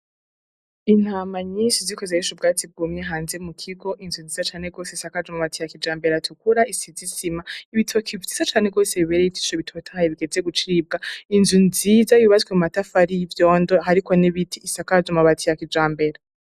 Intama nyinshi ziriko zirarisha ubwatsi bwumye hanze mukigo. Inzu nziza cane rwose asakaje amabati ya kijambere atukura, isize isima. Ibitoke vyiza cane rwose bibereye ijisho bitotahaye bigeze gucibwa. Inzu nziza yubatswe amatafari y'ivyondo, hariko n'ibiti isakaje amabati ya kijambere.